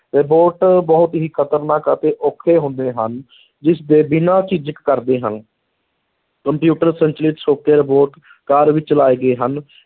Robot ਬਹੁਤ ਹੀ ਖ਼ਤਰਨਾਕ ਅਤੇ ਔਖੇ ਹੁੰਦੇ ਹਨ ਜਿਸਦੇ ਬਿਨਾਂ ਝਿਜਕ ਕਰਦੇ ਹਨ ਕੰਪਿਊਟਰ ਸੰਚਾਲਿਤ ਛੋਟੇ robot ਕਾਰ ਵਿੱਚ ਲਾਏ ਗਏ ਹਨ